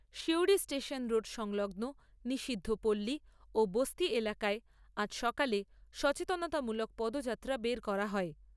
Suri station road সংলগ্ন নিষিদ্ধ পল্লী ও বস্তি এলাকায় আজ সকালে সচেতনতামূলক পদযাত্রা বের করা হয়।